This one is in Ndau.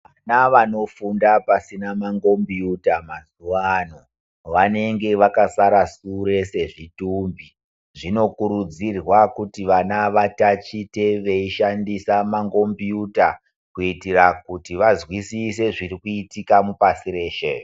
Vana vanofunda pasina mangombiyuta mazuva ano vanenge vakasara sure sezvitumbi, zvinokurudzirwa kuti vana vatatiche veyishandisa mangombiyuta kuyitire kuti vazwisise zviri kuyitika mupasi reshe.